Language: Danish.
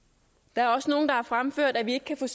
der er også nogle der har fremført at vi ikke kan